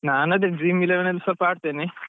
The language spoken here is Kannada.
ನಾನ್ ಅದೇ Dream Eleven ಸ್ವಲ್ಪ ಆಡ್ತೇನೆ.